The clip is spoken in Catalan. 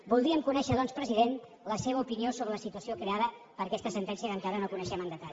voldríem conèixer doncs president la seva opinió sobre la situació creada per aquesta sentència que encara no coneixem amb detall